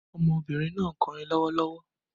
Ọmọbìnrin náà ń kọrin lọ́wọ́lọ́wọ́